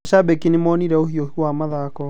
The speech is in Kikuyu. Macabiki nĩmaonire ũhĩũhu wa mathako